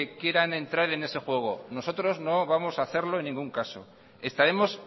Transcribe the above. quieran entrar en ese juego nosotros no vamos a hacerlo en ningún caso estaremos